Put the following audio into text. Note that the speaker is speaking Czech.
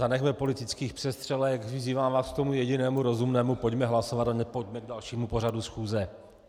Zanechme politických přestřelek, vyzývám vás k tomu jedinému rozumnému - pojďme hlasovat a pojďme k dalšímu pořadu schůze.